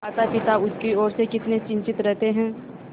मातापिता उसकी ओर से कितने चिंतित रहते हैं